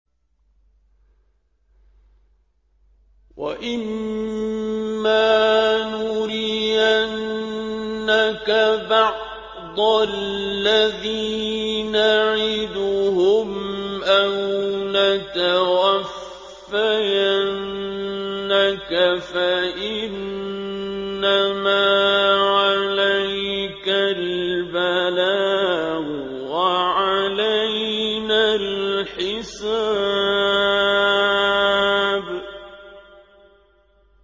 وَإِن مَّا نُرِيَنَّكَ بَعْضَ الَّذِي نَعِدُهُمْ أَوْ نَتَوَفَّيَنَّكَ فَإِنَّمَا عَلَيْكَ الْبَلَاغُ وَعَلَيْنَا الْحِسَابُ